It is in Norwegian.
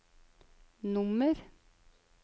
nummer